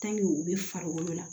u bɛ farikolo la